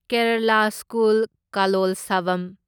Kerala school Kalolsavam